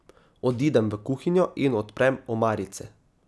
Odidem v kuhinjo in odprem omarice.